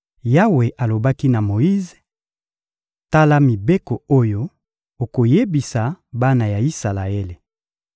Yawe alobaki na Moyize: — Tala mibeko oyo okoyebisa bana ya Isalaele: